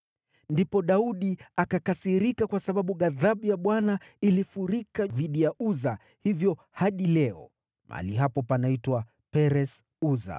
Ndipo Daudi akakasirika kwa sababu ghadhabu ya Bwana ilifurika dhidi ya Uza, hivyo hadi leo mahali hapo panaitwa Peres-Uza.